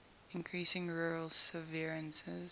increasing rural severances